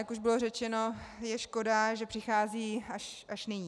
Jak už bylo řečeno, je škoda, že přichází až nyní.